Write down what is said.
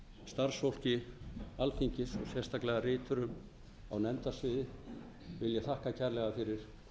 starfsfólki alþingis og sérstaklega riturum á nefndasviði vil ég þakka kærlega fyrir vel unnin störf